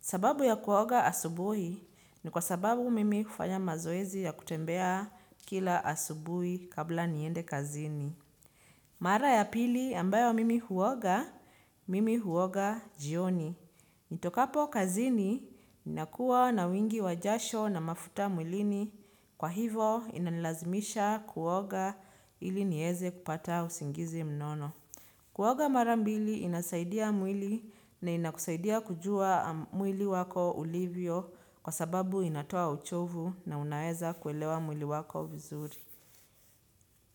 Sababu ya kuoga asubuhi ni kwa sababu mimi kufanya mazoezi ya kutembea kila asubuhi kabla niende kazini. Mara ya pili ambayo mimi huoga, mimi huoga jioni. Nitokapo kazini ninakuwa na wingi wa jasho na mafuta mwilini kwa hivo inalazimisha kuoga ili niweze kupata usingizi mnono. Kuoga mara mbili inasaidia mwili na inakusaidia kujua mwili wako ulivyo kwa sababu inatoa uchovu na unaweza kuelewa mwili wako vizuri.